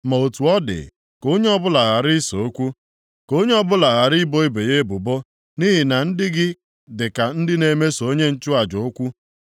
“Ma otu ọ dị, ka onye ọbụla ghara ise okwu, ka onye ọbụla ghara ibo ibe ya ebubo. Nʼihi na ndị gị dịka ndị na-eseso onye nchụaja okwu.